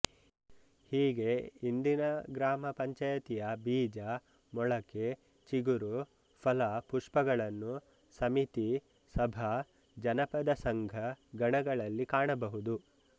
ಹೀಗೆ ಇಂದಿನ ಗ್ರಾಮ ಪಂಚಾಯತಿಯ ಬೀಜ ಮೊಳಕೆ ಚಿಗುರು ಫಲ ಪುಷ್ಪಗಳನ್ನು ಸಮಿತಿ ಸಭಾ ಜನಪದ ಸಂಘ ಗಣಗಳಲ್ಲಿ ಕಾಣಬಹುದು